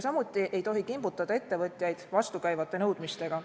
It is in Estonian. Samuti ei tohi kimbutada ettevõtjaid vastukäivate nõudmistega.